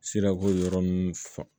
Sira ko yɔrɔ n fan